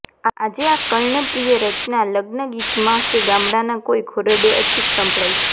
આજે આ કર્ણપ્રિય રચના લગ્નગીતમાં કે ગામડાના કોઈ ખોરડે અચૂક સંભળાય છે